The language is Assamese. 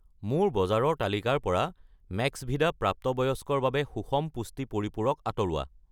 মোৰ বজাৰৰ তালিকাৰ পৰা মেক্সভিদা প্ৰাপ্তবয়স্কৰ বাবে সুষম পুষ্টি পৰিপূৰক আঁতৰোৱা।